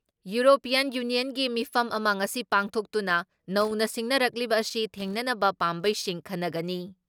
European ꯌꯨꯅꯤꯌꯟꯒꯤ ꯃꯤꯐꯝ ꯑꯃ ꯉꯁꯤ ꯄꯥꯡꯊꯣꯛꯇꯨꯅ ꯅꯧꯅ ꯁꯤꯡꯅꯔꯛꯂꯤꯕ ꯑꯁꯤ ꯊꯦꯡꯅꯅꯕ ꯄꯥꯝꯕꯩꯁꯤꯡ ꯈꯟꯅꯒꯅꯤ ꯫